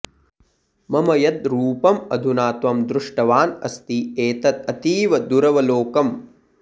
मम यद् रूपम् अधुना त्वं दृष्टवान् अस्ति एतत् अतीव दुरवलोकम्